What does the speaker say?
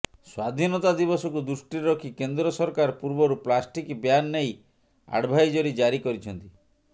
ସ୍ୱାଧିନତା ଦିବସକୁ ଦୃଷ୍ଟିରେ ରଖି କେନ୍ଦ୍ର ସରକାର ପୂର୍ବରୁ ପ୍ଲାଷ୍ଟିକ ବ୍ୟାନ୍ ନେଇ ଆଡଭାଇଜରୀ ଜାରି କରିଛନ୍ତି